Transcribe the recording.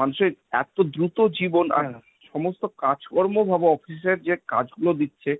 মানুষের এত দ্রুত জীবন আর সমস্ত কাজকর্ম ভাবো, office এর যে কাজগুলো দিচ্ছে,